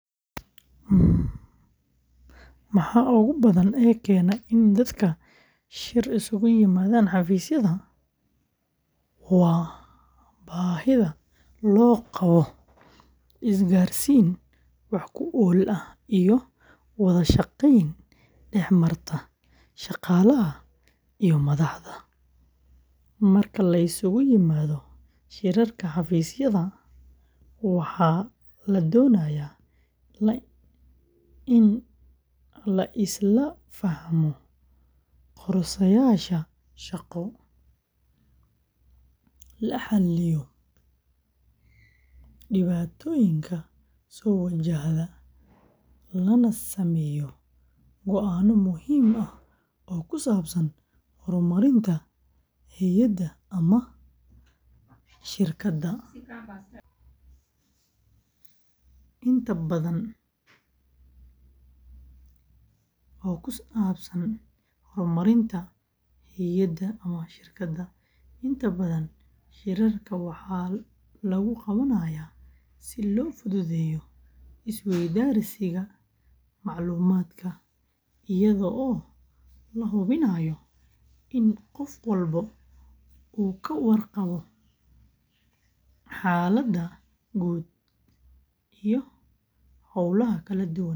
Maxaa ugu badan ee keena in dadka shir isugu yimaadaan xafiisyada waa baahida loo qabo isgaarsiin wax ku ool ah iyo wada shaqeyn dhex marta shaqaalaha iyo madaxda. Marka la isugu yimaado shirarka xafiisyada, waxaa la doonayaa in la isla fahmo qorshayaasha shaqo, la xaliyo dhibaatooyinka soo wajahda, lana sameeyo go'aano muhiim ah oo ku saabsan horumarinta hay’adda ama shirkadda. Inta badan, shirarka waxaa lagu qabanayaa si loo fududeeyo isweydaarsiga macluumaadka, iyadoo la hubinayo in qof walba uu ka warqabo xaaladda guud iyo hawlaha kala duwan ee socda.